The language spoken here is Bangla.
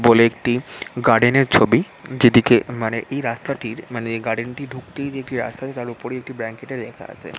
বলে একটি গার্ডেন -এর ছবি যেদিকে মানে এই রাস্তাটির মানে গার্ডেন -টি ঢুকতেই যে একটি রাস্তা আছে তার ওপরেই একটি ব্র্যাঙ্কেট -এ লেখা আছে --